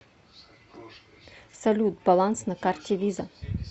салют баланс на карте виза